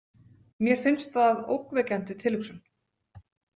Mér finnst það ógnvekjandi tilhugsun.